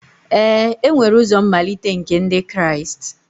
Ee e nwere ụzọ mmalite nke Ndị Kraịst